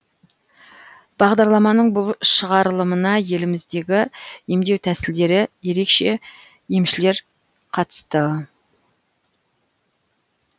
бағдарламаның бұл шығарылымына еліміздегі емдеу тәсілдері ерекше емшілер қатысты